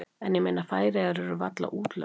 En ég meina Færeyjar eru varla útlönd.